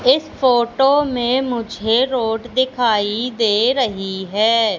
इस फोटो में मुझे रोड दिखाई दे रही है।